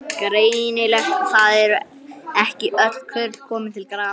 Greinilegt að það eru ekki öll kurl komin til grafar!